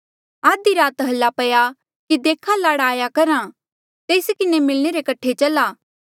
आधी राती हाल्ला पया कि देखा लाड़ा आया करहा तेस किन्हें मिलणे रे कठे चला